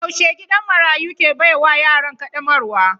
Yaushe gidan marayu ke baiwa yaran kaddamarwa?